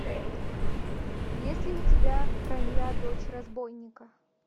есть ли у тебя ронья дочь разбойника